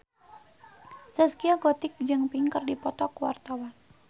Zaskia Gotik jeung Pink keur dipoto ku wartawan